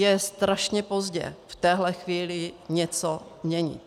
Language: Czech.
Je strašně pozdě v téhle chvíli něco měnit.